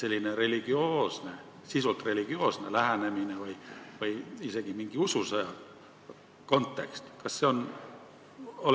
Kas oleks võimalik ka selline sisult religioosne lähenemine või isegi mingi ususõja kontekst?